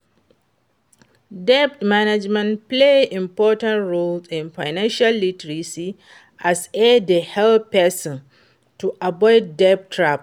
debt management play important role in financial literacy as e dey help pesin to avoid debt traps.